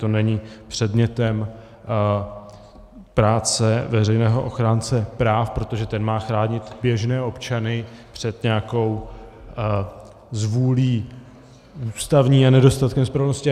To není předmětem práce veřejného ochránce práv, protože ten má chránit běžné občany před nějakou zvůlí ústavní a nedostatkem spravedlnosti.